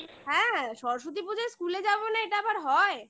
হ্যাঁ সরস্বতী পুজোয় school -এ যাবো না এটা আবার হয়